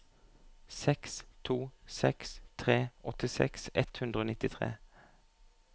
seks to seks tre åttiseks ett hundre og nittitre